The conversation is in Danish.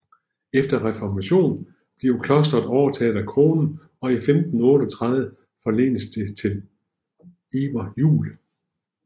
Efter reformationen blev klosteret overtaget af kronen og i 1538 forlenes det til Iver Juel